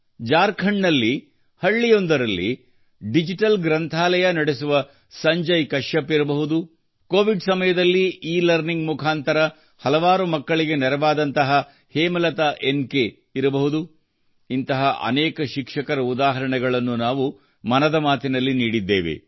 ಜಾರ್ಖಂಡ್ ನಲ್ಲಿ ಹಳ್ಳಿಯಲ್ಲಿ ಡಿಜಿಟಲ್ ಗ್ರಂಥಾಲಯ ನಡೆಸುವ ಸಂಜಯ್ ಕಶ್ಯಪ್ ಇರಬಹುದು ಕೋವಿಡ್ ಸಮಯದಲ್ಲಿ ಇಲರ್ನಿಂಗ್ ಮುಖಾಂತರ ಹಲವಾರು ಮಕ್ಕಳಿಗೆ ನೆರವಾದಂತಹ ಹೇಮಲತಾ ಎನ್ ಕೆ ಇರಬಹುದು ಇಂತಹ ಅನೇಕ ಶಿಕ್ಷಕರ ಉದಾಹರಣೆಗಳನ್ನು ನಾವು ಮನದ ಮಾತಿನಲ್ಲಿ ನೀಡಿದ್ದೇವೆ